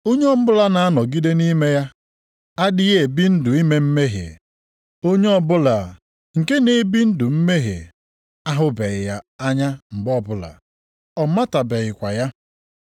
Onye ọbụla na-anọgide nʼime ya adịghị ebi ndụ ime mmehie, onye ọbụla nke na-ebi ndụ mmehie ahụbeghị ya anya mgbe ọbụla, ọ matabekwaghị ya.